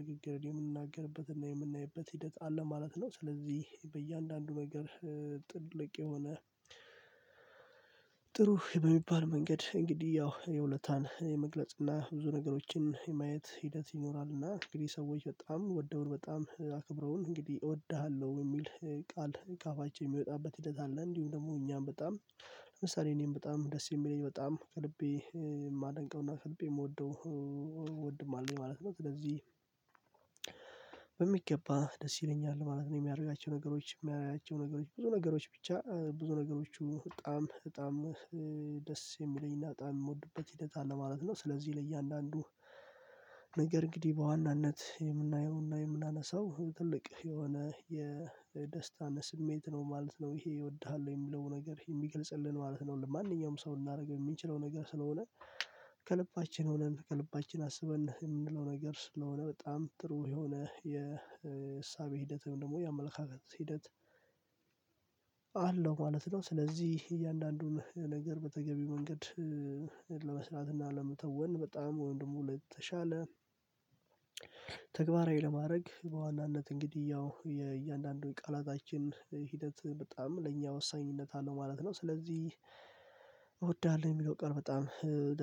ንግግርን የምንናገርበት እና የምናይበት ሂደት አለ ማለት ነው። ስለዚህ በእያንዳንዱ ነገር ጥልቅ የሆነ ጥሩ በሚባል መንገድ እንግዲህ ያው የውለታን የመግለጽ እና ብዙ ነገሮችን የማየት ሂደት ይኖራል። እና እንግዲህ ሰዎች በጣም ወደውን በጣም አክብረውን እንግዲህ እወድሃለሁ የሚል ቃል ከአፋችን የሚወጣበት ሂደት አለ። እንዲሁም ደግሞ እኛም በጣም ለምሳሌ እኔም በጣም ደስ የሚለኝ በጣም ከልቤ የማደንቀውና ከልቤ የምወደው ወንድ አለኝ ማለት ነው። ስለዚህ በሚገባ ደስ ይለኛል ማለት ነው የሚያረጋቸው ነገሮች የሚያያቸው ነገሮች ብዙ ነገሮች ብቻ ብዙ ነገሮቹ በጣም በጣም ደስ የሚለኝና በጣም የምወድበት ሂደት አለ ማለት ነው። ስለዚህ ለእያንዳንዱ ነገር እንግዲህ በዋናነት የምናየውና የምናነሳው ትልቅ የሆነ የደስታን ስሜት ነው ማለት ነው ይሄ እወድሃለሁ የሚለው ነገር የሚገልጽልን ማለት ነው። ለማንኛውም ሰው ልናደርገው የምንችለው ነገር ስለሆነ ከልባችን ሆነን ከልባችን አስበን የምንለው ነገር ስለሆነ በጣም ጥሩ የሆነ የእሳቤ ሂደትም ደግሞ የአመለካከት ሂደት አለው ማለት ነው። ስለዚህ እያንዳንዱን ነገር በተገቢ መንገድ ለመስራት እና ለመተወን በጣም ወይም ደግሞ ለተሻለ ለማድረግ በዋናነት እንግዲህ ያው የእያንዳንዱ ቃላታችን ሂደት በጣም ለእኛ ወሳኝነት አለው ማለት ነው። ስለዚህ እወዳለሁ የሚለው ቀን በጣም